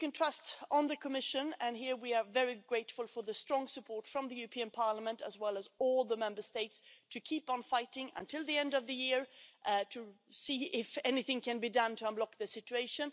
So you can trust in the Commission and here we are very grateful for the strong support from the European Parliament, as well as all the Member States to keep on fighting until the end of the year to see if anything can be done to unblock the situation.